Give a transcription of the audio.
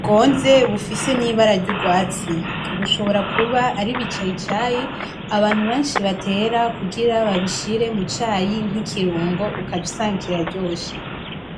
bwonze bufise n'ibara ry'urwatsi. Bushobora kuba ari ibicayicayi, abantu benshi batera kugira babishire mu cayi nk'ikirungo ugaca usanga kiraryoshe.